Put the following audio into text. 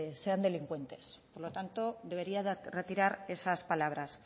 sean delincuentes por lo tanto debería retirar esas palabras